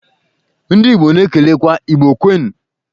Ndị igbo na-ekelekwa "Igbo kwenụ'.